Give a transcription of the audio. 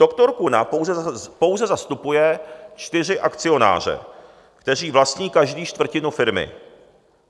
Dr. Kuna pouze zastupuje čtyři akcionáře, kteří vlastní každý čtvrtinu firmy.